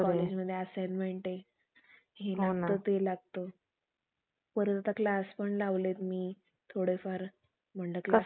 राष्ट्रीय आणिबाणीविषयी अजून काही महत्वाच्या गोष्टी लक्षात घेऊ. एक म्हणजे, कि राष्ट्रीय आणीबाणी जर बाह्य, राष्ट्रीय आणीबाणीचे दोन प्रकारे आपण बघितले, बाह्य आणीबाणी आणि अंतर्गत आणीबाणी.